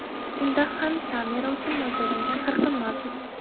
Unda ham kamera uchun mo‘ljallangan qirqim mavjud.